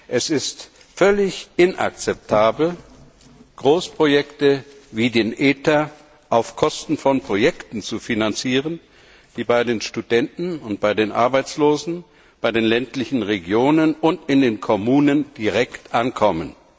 Es ist völlig inakzeptabel, Großprojekte wie den ITER auf Kosten von Projekten zu finanzieren, die bei den Studenten und bei den Arbeitslosen, bei den ländlichen Regionen und in den Kommunen direkt ankommen.